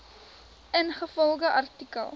ingevolge artikel